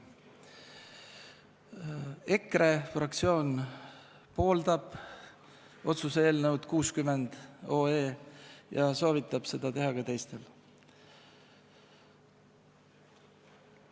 EKRE fraktsioon pooldab otsuse eelnõu 60 ja soovitab seda teha ka teistel.